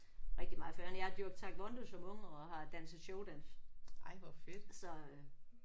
Rigtig meget. For øvrigt jeg har dyrket taekwondo som ung og har danset showdans så øh